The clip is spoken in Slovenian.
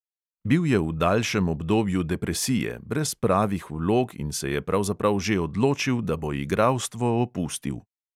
Bil je v daljšem obdobju depresije, brez pravih vlog in se je pravzaprav že odločil, da bo igralstvo opustil.